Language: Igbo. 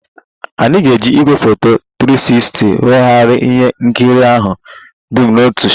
Anyị ga-eji igwefoto 360 weghara ihe nkiri ahụ dum n'otu shot